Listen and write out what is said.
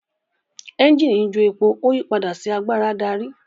Ẹ́ńjìnì njo èpo o yí pàdà sí àgbàrá darí.